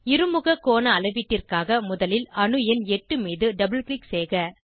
இருமுக கோண அளவீட்டிற்காக முதலில் அணு எண் 8 மீது டபுள் க்ளிக் செய்க